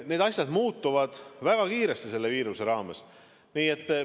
Need asjad muutuvad selle viiruse raames väga kiiresti.